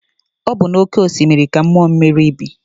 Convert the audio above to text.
Ọ bụ na oke osimiri ka mmụọ mmiri bi.